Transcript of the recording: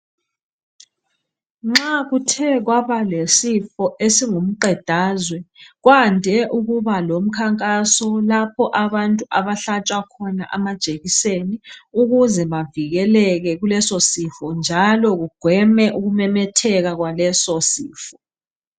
Nxa kuthe kwaba lesifo esingumqedazwe kwande ukuba lomkhakhaso lapho abantu abahlatshwa khona amajekiseni ukuze bavikeleke njalo kugweme ukumemetheka kwaleso sifo